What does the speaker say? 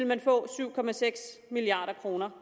man få syv milliard kroner